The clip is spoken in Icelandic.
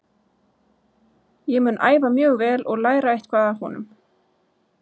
Ég mun æfa mjög vel og læra eitthvað af honum.